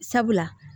Sabula